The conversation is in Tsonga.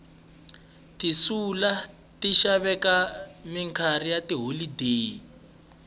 tiselula ti xaveka minkarhi ya tiholodeni